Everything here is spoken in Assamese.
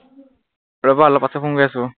ৰবা অলপ পাছত phone কৰি আছো